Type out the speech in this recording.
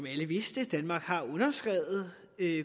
alle vidste at danmark har underskrevet